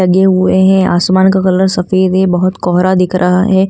लगे हुए हैं आसमान का कलर सफेद है बहोत कोहरा दिख रहा है।